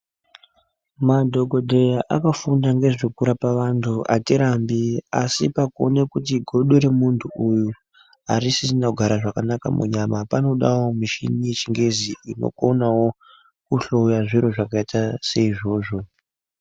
Madhokodheya akafunda ngezvekurapa vantu atirambi asi pakuona kuti godo remuntu uyu harisisina kugara zvakanaka munyama panodawo mishini yechingezi inokonawo kuhloya zviro zvakaita seizvozvo.